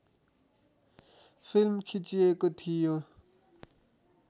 film खिचिएको थियो